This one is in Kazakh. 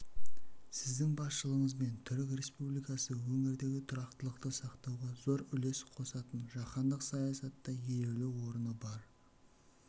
сіздің басшылығыңызбен түрік республикасы өңірдегі тұрақтылықты сақтауға зор үлес қосатын жаһандық саясатта елеулі орны бар